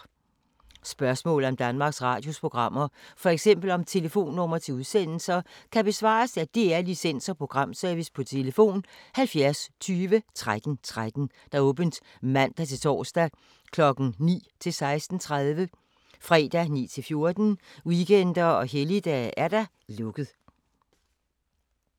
Spørgsmål om Danmarks Radios programmer, f.eks. om telefonnumre til udsendelser, kan besvares af DR Licens- og Programservice: tlf. 70 20 13 13, åbent mandag-torsdag 9.00-16.30, fredag 9.00-14.00, weekender og helligdage: lukket.